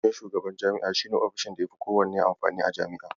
Ofishin shugaban jami'a shi ne ofishin da yafi kowanne amfani a Jami'a.